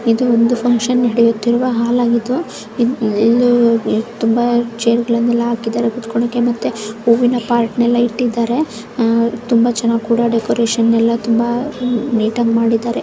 ಇದು ಒಂದು ಫ್ಯಾಂಕ್ಷನ್ ನಡೆಯುತ್ತಿರುವ ಹಾಲಾಗಿದೆ ಇಲ್ಲಿ ತುಂಬಾ ಚೇರ್ಗ ಳನ್ನೆಲ್ಲ ಆಕಿದಾರೆ ಕೂತ್ಕೊಳ್ಳೋದಕ್ಕೆ ಮತ್ತೆ ಹೂವಿನ ಪಾಟ್ ಇಟ್ಟಿದ್ದಾರೆ ತುಂಬಾ ಡೆಕೋರೇಷನ್ ಕೂಡ ತುಂಬಾ ನೀಟಾಗಿ ಮಾಡಿದ್ದಾರೆ.